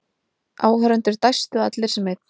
Áhorfendur dæstu allir sem einn.